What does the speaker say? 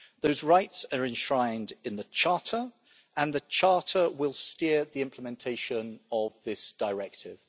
Those rights are enshrined in the Charter and the Charter will steer the implementation of this directive.